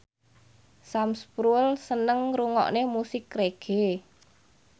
Sam Spruell seneng ngrungokne musik reggae